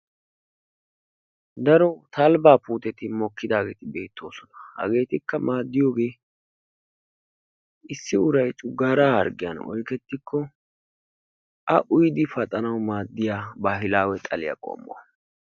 Daro talbbaa puuteti mokkidaageeti de'oososna. Hageettiika maaddiyoogee issi uray cogaaraa harggiyan oyqqettikko A uyyidi paxanawu maaddiya baahilaawe xalliya qommo.